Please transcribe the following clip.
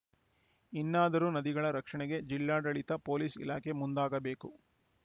ಇನ್ನಾದರೂ ನದಿಗಳ ರಕ್ಷಣೆಗೆ ಜಿಲ್ಲಾಡಳಿತ ಪೊಲೀಸ್‌ ಇಲಾಖೆ ಮುಂದಾಗಬೇಕು